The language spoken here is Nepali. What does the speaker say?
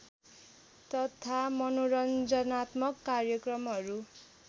तथा मनोरञ्जनात्मक कार्यक्रमहरू